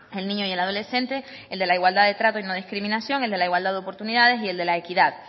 el niño y el adolescente el de la igualdad de trato y no discriminación el de la igualdad de oportunidades y el de la equidad